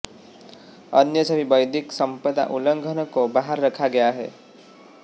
अन्य सभी बौद्धिक संपदा उल्लंघनों को बाहर रखा गया है